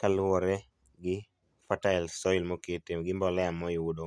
kaluwore gi fertile soil mokete gi mbolea moyudo .